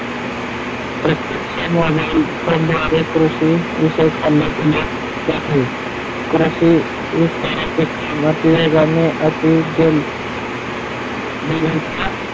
प्रत्येक्ष मोबाईल करणारे कृषी जाते कृषी विस्ताराचे काम वेगाचे अति जल काढल्या गेल्यात.